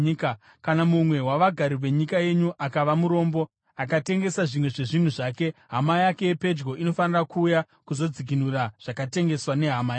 “ ‘Kana mumwe wavagari venyika yenyu akava murombo akatengesa zvimwe zvezvinhu zvake, hama yake yepedyo inofanira kuuya kuzodzikinura zvakatengeswa nehama yake.